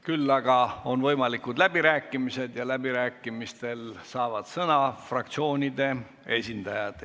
Küll aga on võimalikud läbirääkimised ja läbirääkimistel saavad sõna fraktsioonide esindajad.